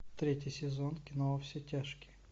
третий сезон кино во все тяжкие